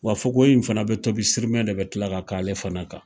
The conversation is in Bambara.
Wa fakiwoye in fɛnɛ be tob sirimɛ de be kila ka k'ale fɛnɛ kan